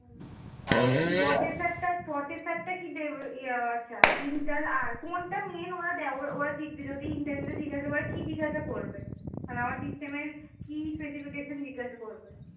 processor টা processor টা কি দেবো ও আচ্ছা inter R কোনটা main ওরা দেখবে ওরা দেখবে? যদি interview তে জিজ্ঞাসা করে, কি জিজ্ঞাসা করবে? মানে আমার system এর কি specification জিজ্ঞাসা করবে?